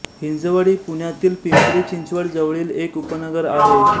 हिंजवडी पुण्यातील पिंपरी चिंचवड जवळील एक उपनगर आहे